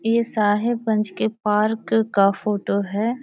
ये साहिबगंज के पार्क का फोटो है।